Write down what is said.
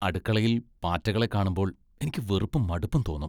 അടുക്കളയിൽ പാറ്റകളെ കാണുമ്പോൾ എനിക്ക് വെറുപ്പും ,മടുപ്പും തോന്നും .